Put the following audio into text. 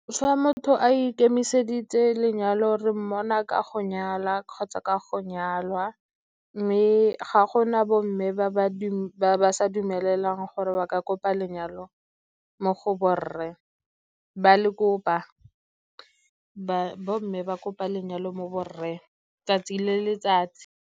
Fa motho a ikemiseditse lenyalo re mmona ka go nyala kgotsa ka go nyalwa, mme ga gona bo mme ba ba sa dumelelwang gore ba ka kopa lenyalo mo go bo rre, ba le kopa bo mme ba kope lenyalo mo bo rre 'tsatsi le letsatsi.